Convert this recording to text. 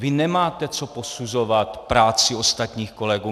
Vy nemáte co posuzovat práci ostatních kolegů!